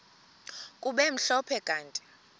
kube mhlophe kanti